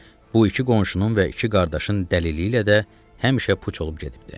bu iki qonşunun və iki qardaşın dəlili ilə də həmişə puç olub gedibdir.